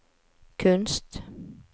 kunst